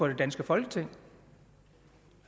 i dansk grønlandsk